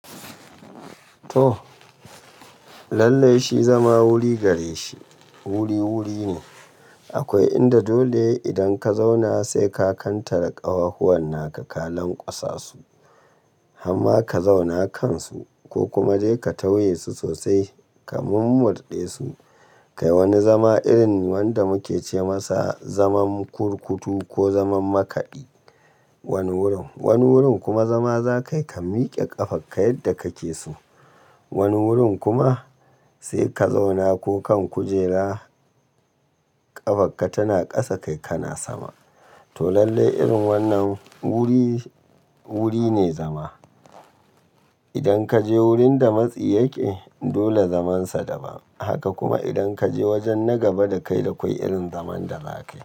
To, lallai shi zama wuri gare shi wuri-wuri ne. Akwai inda dole idan ka zauna sai ka kantare ƙawahuwan naka kalan kwasasu. Hamma ka zauna kansu ko kuma je ka tauye su sosai, ka murmurɗe su. Kai wani zama irin wanda muke ce masa zaman kurkutu ko zaman makaɗi. Wani wurin, wani wurin kuma zama za kai ka mike ƙafarka yadda kake so. Wani wurin kuma sai ka zauna ko kan kujera ƙafarka tana ƙasa kai kana sama. To lallai irin wannan wuri, wuri ne zama. Idan ka je wurin da matsi yake dole zamansa daban. Haka kuma idan ka je wajen na gaba dakai da kwai irin zaman da za ka yi.